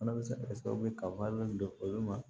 Fana bɛ se ka kɛ sababu ye ka wari don olu ma